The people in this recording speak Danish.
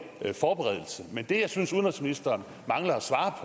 forberedelse men det jeg synes udenrigsministeren mangler at svare